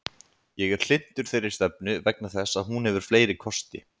Ég er hlynntur þeirri stefnu vegna þess að hún hefur fleiri kosti.